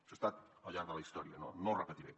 això ha estat al llarg de la història no ho repetiré